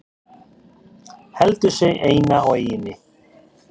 Heldur sig eina á eyjunni.